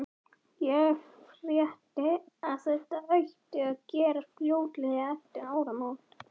Ég frétti, að þetta ætti að gerast fljótlega eftir áramót